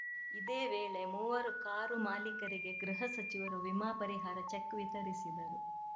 ಇದೇ ವೇಳೆ ಮೂವರು ಕಾರು ಮಾಲೀಕರಿಗೆ ಗೃಹ ಸಚಿವರು ವಿಮಾ ಪರಿಹಾರ ಚೆಕ್‌ ವಿತರಿಸದರು